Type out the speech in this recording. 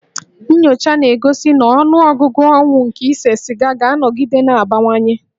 Nnyocha na-egosi na ọnụọgụgụ ọnwụ nke ise siga ga-anọgide na-abawanye